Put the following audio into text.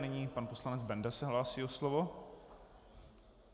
Nyní pan poslanec Benda se hlásí o slovo.